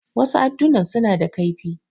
Wasu addunan suna da kaifi.